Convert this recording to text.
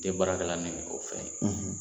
Ne tɛ baara kɛla n'olu fɛn ye